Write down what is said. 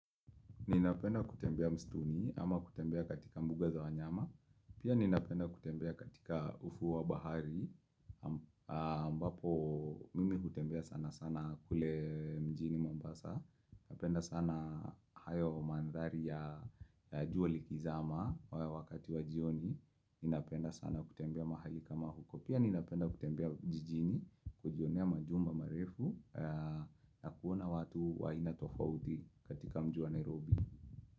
Ninapenda kutembea mstiuni ama kutembea katika mbuga za wanyama Pia ninapenda kutembea katika ufuo wa bahari ambapo mimi hutembea sana sana kule mjini mombasa Napenda sana hayo mandhari ya jua likizama wakati wa jioni Ninapenda sana kutembea mahali kama huko Pia ninapenda kutembea jijini kujionea majumba marefu na kuona watu wa aina tofauti katika mji wa Nairobi.